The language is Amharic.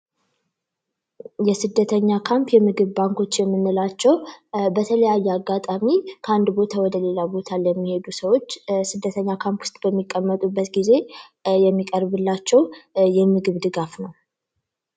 የስደተኛ ካምፕ የምግብ ባንኮች የምንላቸው በተለያየ አጋጣሚ ከአንድ ቦታ ወደሌላ ቦታ እንደሚሄዱ ሰዎች ስደተኛ ካምፕ በሚቀመጡበት ጊዜ የሚቀርቡ የምግብ ድጋፍ ነው።